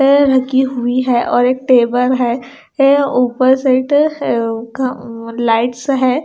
Chair रखी हुई है और एक टेबल है ऊपर सेट लाइट्स है।